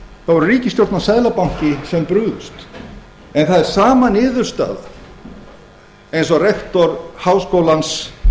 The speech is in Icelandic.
voru ríkisstjórn og seðlabanki sem brugðust en það er sama niðurstaða eins og rektor háskólans